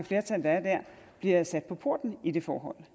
flertal der er der bliver sat på porten i det forhold